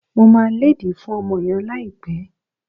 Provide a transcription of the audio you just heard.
Mo máa lédìí fún ọmọ yẹn láìpẹ́